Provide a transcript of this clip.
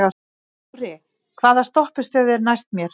Ári, hvaða stoppistöð er næst mér?